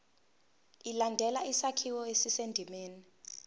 ilandele isakhiwo esisendimeni